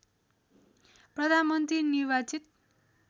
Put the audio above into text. प्रधानमन्त्री निर्वाचित